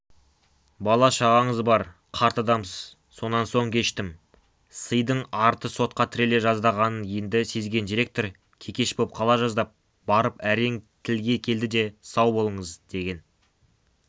бала-шағаңыз бар қарт адамсыз сонан соң кештім сыйдың арты сотқа тіреле жаздағанын енді сезген директор кекеш боп қала жаздап барып әрең тілге келді де сау болыңыз деген